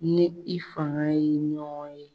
N ni i faga ye ɲɔgɔn ye.